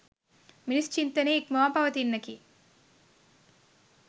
මිනිස් චින්තනය ඉක්මවා පවතින්නකි